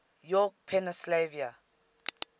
york pennsylvania